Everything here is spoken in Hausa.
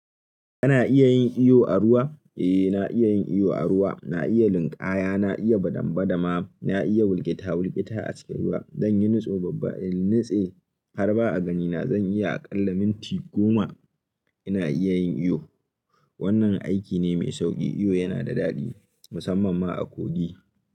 Kana iya yin iyo a ruwa? Eh, na iya yin iyo a ruwa. Na iya linƙaya, na iya badambadama, na iya wulketa-wulketa a cikin ruwa. Zan yi nutso babba in nitse har ba'a ganina. Zan iya aƙalla minti goma ina iya yin iyo. Wannan aiki ne mai sauƙi. Iyo yana da daɗi musamman ma a Kogi.